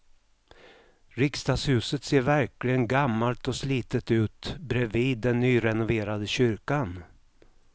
Riksdagshuset ser verkligen gammalt och slitet ut bredvid den nyrenoverade kyrkan.